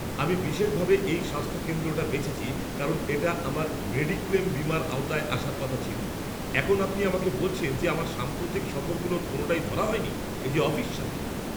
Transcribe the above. আমি বিশেষভাবে এই স্বাস্থ্য কেন্দ্রটা বেছেছি কারণ এটা আমার মেডিক্লেল বীমার আওতায় আসার কথা ছিল। এখন আপনি আমাকে বলছেন যে আমার সাম্প্রতিক সফরগুলোর কোনোটাই ধরা হয়নি? এ যে অবিশ্বাস্য!